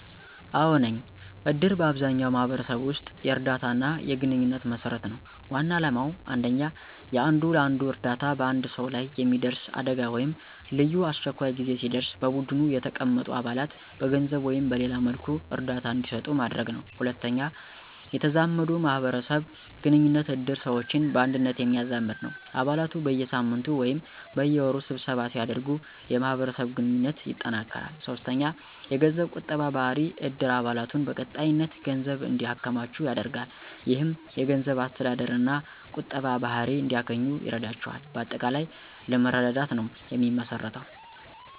አዎ ነኝ፦ እድር በአብዛኛው ማህበረሰብ ውስጥ የእርዳታና የግንኙነት መሰረት ነው። ዋና ዓላማው 1. የአንዱ ለአንዱ እርዳታ በአንድ ሰው ላይ የሚደርስ አደጋ ወይም ልዩ አስቸኳይ ጊዜ ሲደርስ በቡድኑ የተቀመጡ አባላት በገንዘብ ወይም በሌላ መልኩ እርዳታ እንዲሰጡ ማድረግ ነው። 2. የተዛመዱ ማህበረሰብ ግንኙነት እድር ሰዎችን በአንድነት የሚያዛመድ ነው። አባላቱ በየሳምንቱ ወይም በየወሩ ስብሰባ ሲያደርጉ የማህበረሰብ ግንኙነት ይጠናከራል። 3. የገንዘብ ቁጠባ ባህሪ እድር አባላቱን በቀጣይነት ገንዘብ እንዲያከማቹ ያደርጋል። ይህም የገንዘብ አስተዳደርና ቁጠባ ባህሪ እንዲያገኙ ይረዳቸዋል። በአጠቃላይ ለመረዳዳት ነው የሚመሰረተው።